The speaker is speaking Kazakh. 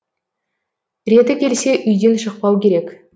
реті келсе үйден шықпау керек